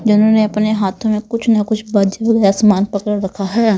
जिन्होंने अपने हाथों में कुछ ना कुछ बाजी वगैरह समान पकड़ रखा है.